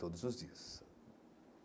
Todos os dias.